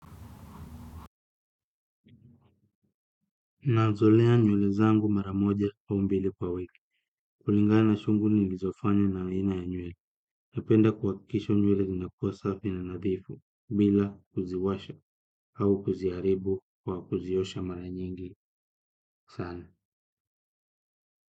Nazilea nywele zangu mara moja au mbili kwa wiki, kulingana shughuli nilizofanya na aina ya nywele. Napenda kuhakikisha nywele zinakuwa safi na nadhifu, bila kuziwasha au kuziharibu kwa kuziosha mara nyingi sana.